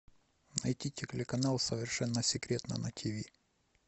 найти телеканал совершенно секретно на тв